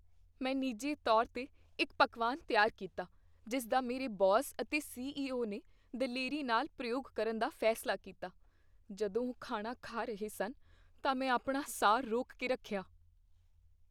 ਮੈਂ ਨਿੱਜੀ ਤੌਰ 'ਤੇ ਇੱਕ ਪਕਵਾਨ ਤਿਆਰ ਕੀਤਾ ਜਿਸ ਦਾ ਮੇਰੇ ਬੌਸ ਅਤੇ ਸੀ.ਈ.ਓ. ਨੇ ਦਲੇਰੀ ਨਾਲ ਪ੍ਰਯੋਗ ਕਰਨ ਦਾ ਫੈਸਲਾ ਕੀਤਾ। ਜਦੋਂ ਉਹ ਖਾਣਾ ਖਾ ਰਹੇ ਸਨ ਤਾਂ ਮੈਂ ਆਪਣਾ ਸਾਹ ਰੋਕ ਕੇ ਰੱਖਿਆ।